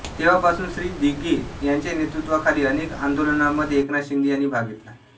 तेव्हापासून श्री दिघे यांच्या नेतृत्वाखाली अनेक आंदोलनांमध्ये एकनाथ शिंदे यांनी भाग घेतला